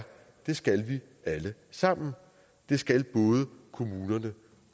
det skal vi alle sammen det skal både kommunerne